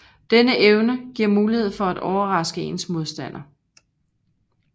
Denne evne giver mulighed for at overraske ens modstander